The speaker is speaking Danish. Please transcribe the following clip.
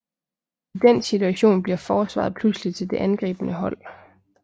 I den situation bliver forsvaret pludselig til det angribende hold